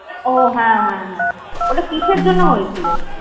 ওহ হ্যাঁ হ্যাঁ হ্যাঁ ওটা কিসের জন্য হয়েছিল?